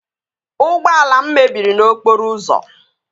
Ụgbọala m mebiri n'okporo ụzọ